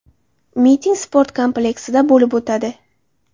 Miting sport kompleksida bo‘lib o‘tadi.